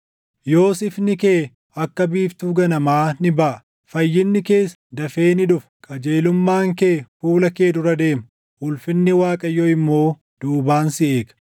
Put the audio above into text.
Yoos ifni kee akka biiftuu ganamaa ni baʼa; fayyinni kees dafee ni dhufa; qajeelummaan kee fuula kee dura deema; ulfinni Waaqayyoo immoo duubaan si eega.